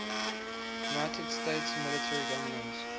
united states military governors